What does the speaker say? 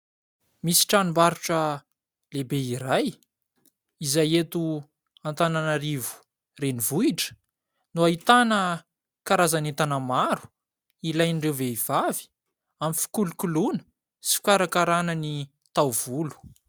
Misy tranombarotra lehibe iray izay, eto Antananarivo renivohitra no ahitana karazan'entana maro ilain'ireo vehivavy amin'ny fikolokoloana sy fikarakarana ny taovolo.